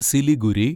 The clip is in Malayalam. സിലിഗുരി